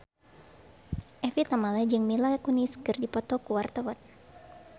Evie Tamala jeung Mila Kunis keur dipoto ku wartawan